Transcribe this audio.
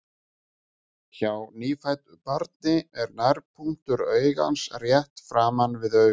Hjá nýfæddu barni er nærpunktur augans rétt framan við augun.